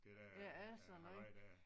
Ja alt sådan noget